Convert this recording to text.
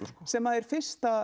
sem er fyrsti